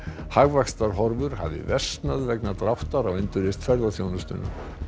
hagvaxtarhorfur hafa versnað vegna dráttar á endurreisn ferðaþjónustunnar